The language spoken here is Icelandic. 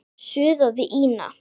suðaði Ína.